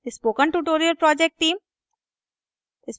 spoken tutorial project team: